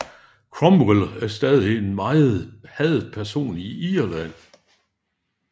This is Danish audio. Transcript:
Cromwell er stadig en meget hadet person i Irland